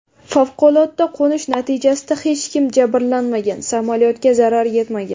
Favqulodda qo‘nish natijasida hech kim jabrlanmagan, samolyotga zarar yetmagan.